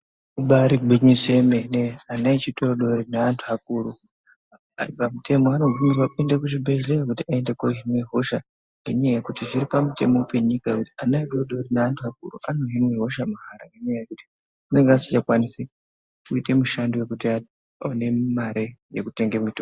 Ibari gwinyiso yemene ana echidodori neantu akuru. Ari pamuteno anobvumirwa kuenda kuchibhedhleya kuti aende kohine hosha. Ngenyaya yekuti zviri pamutemo penyika kuti ana adodori neantu akuru anohinwe hosha mahara. Nenyaya yekuti anenge asingachakwanisi kuita mishando yekuti aone mare yekutenge mutombo.